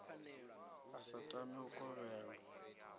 a sa tami u kovhelwa